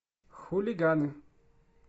хулиганы